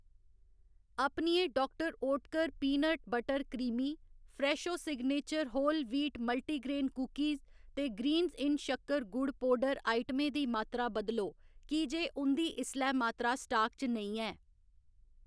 अपनियें doctor Oetker peanut butter creamy, Fresho signature whole wheat multigrain cookies ते Greenz इन शक्कर, गुड़ पौडर आइटमें दी मात्तरा बदलो की जे उं'दी इसलै मात्तरा स्टाक च नेईं ऐ